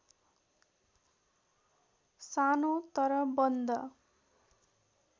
सानो तर बन्द